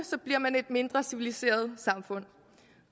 bliver man et mindre civiliseret samfund